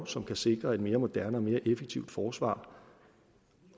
som kan sikre et mere moderne og mere effektivt forsvar